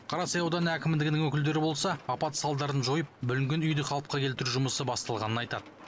қарасай ауданы әкімдігінің өкілдері болса апат салдарын жойып бүлінген үйді қалыпқа келтіру жұмысы басталғанын айтады